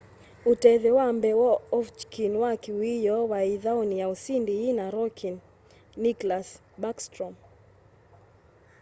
utethyo wa mbee wa ovechkin wa kiwioo wai ithauni ya usindi yina rookie nicklas backstrom